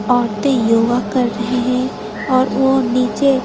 औरतें योगा कर रही हैं और वह नीचे--